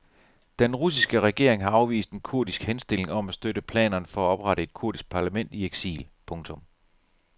Den russiske regering har afvist en kurdisk henstilling om at støtte planerne for at oprette et kurdisk parlament i eksil. punktum